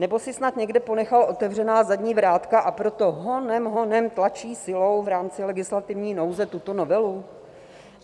Nebo si snad někde ponechal otevřená zadní vrátka, a proto honem honem tlačí silou v rámci legislativní nouze tuto novelu?